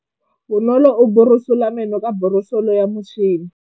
Bonolô o borosola meno ka borosolo ya motšhine.